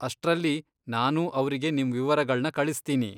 ಅಷ್ಟ್ರಲ್ಲಿ, ನಾನೂ ಅವ್ರಿಗೆ ನಿಮ್ ವಿವರಗಳ್ನ ಕಳಿಸ್ತೀನಿ.